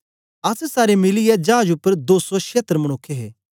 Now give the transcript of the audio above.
अस सारे मिलीयै चाज उपर दो सौ छियतर मनुक्ख हे